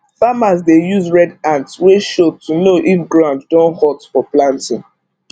farmers dey use red ant wey show to know if ground don hot for planting